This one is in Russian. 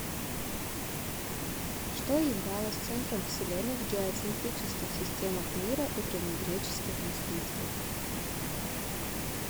что являлось центром вселенной в геоцентрических системах мира у древнегреческих мыслителей